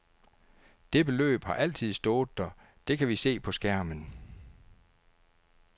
Det beløb har altid stået der, det kan vi se på skærmen.